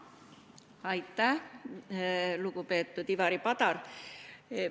Aitäh, lugupeetud Ivari Padar!